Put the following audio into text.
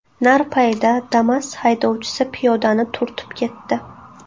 Narpayda Damas haydovchisi piyodani turtib ketdi.